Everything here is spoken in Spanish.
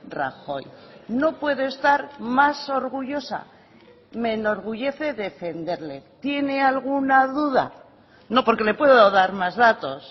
rajoy no puedo estar más orgullosa me enorgullece defenderle tiene alguna duda no porque le puedo dar más datos